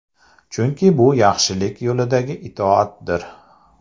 Chunki bu yaxshilik yo‘lidagi itoatdir.